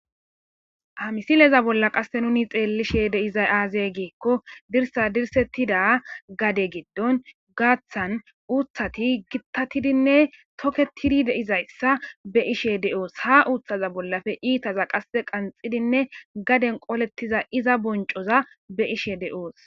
hamisileza bolla qasse nuni xeellishe deizay aazey giikko dirsa dirsettida gade giddon gaaththan uuthati gittatidinne toketidi deizayssa be ishe de7oos ha uuthaza bollafe iitaza qasse qanxidinne gaden qolettiza iza boncoza be ishe de7oos